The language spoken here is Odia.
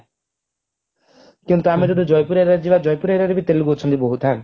କିନ୍ତୁ ଆମେ ଯଦି ଜୟପୁର area ରେ ଯିବା ଜୟପୁର area ବି ତେଲୁଗୁ ଅଛନ୍ତି ବହୁତ ହାଁ